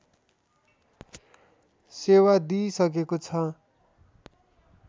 सेवा दिइसकेको छ